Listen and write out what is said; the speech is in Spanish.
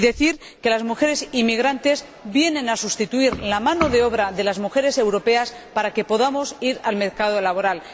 Cabe añadir que las mujeres inmigrantes vienen a sustituir a la mano de obra de las mujeres europeas para que podamos acceder al mercado laboral.